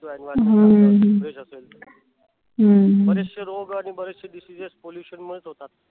बरेचशे रोग आणि बरेचशे diseases pollution मुळेच होतात.